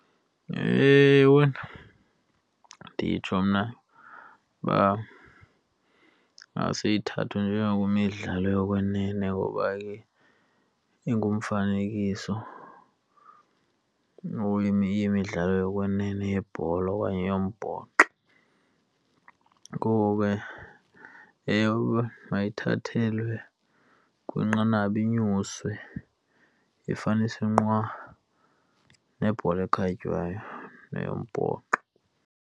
Ewe, nditsho mna uba ingase ithathwe njengokwemidlalo yokwenene ngoba ke ingumfanekiso imidlalo yokwenene yebhola okanye yombhoxo. Ngoku ke ewe, mayithathelwe kwinqanaba inyuswe, ifunyaniswe nqwa nebhola ekhatywayo neyombhoxo.